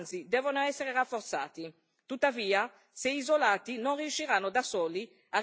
Tuttavia, se isolati non riusciranno da soli a ripristinare il clima di legalità.